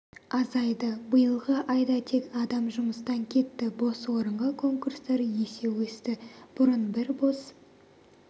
азайды биылғы айда тек адам жұмыстан кетті бос орынға конкурстар есе өсті бұрын бір бос